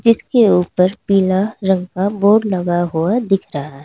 उसके ऊपर पीला रंग का बोर्ड लगा हुआ दिख रहा है।